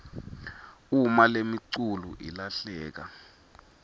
uma lemiculu ilahleka